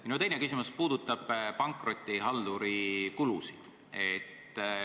Minu teine küsimus puudutab pankrotihalduri kulusid.